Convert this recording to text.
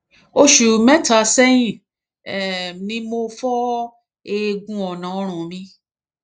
oṣù mẹta sẹyìn um ni mo fọ eegun ọnà ọrùn mi